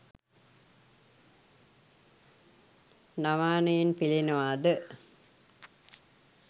නමානයෙන් පෙලෙනවා ද?